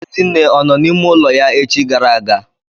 Ezinne ọ nọ n'ime ime ụlọ ya echi gara aga?